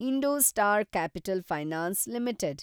IndoStar Capital Finance limited